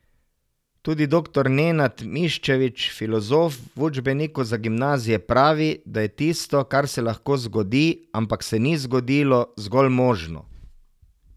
Tudi doktor Nenad Miščević, filozof, v učbeniku za gimnazije pravi, da je tisto, kar se lahko zgodi, ampak se ni zgodilo, zgolj možno.